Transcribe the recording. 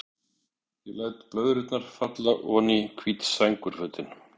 Ég læt blöðrurnar falla oní hvít sængurfötin.